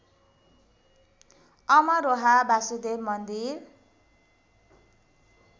अमरोहा वसुदेव मन्दिर